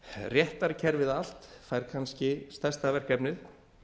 réttarkerfið allt fær kannski stærsta verkefnið